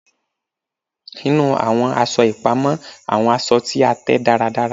Inu awọn aṣọ ipamọ awọn aṣọ ti a tẹ daradara